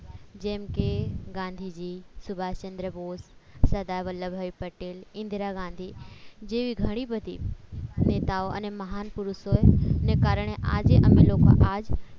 જેમ કે ગાંધીજી સુભાષચંદ્ર બોઝ સરદાર વલ્લભભાઈ પટેલ ઇન્દિરા ગાંધી જેવી ઘણી બધી નેતાઓ અને મહાન પુરુષોએ ને કારણે આજે અમે લોકો આજ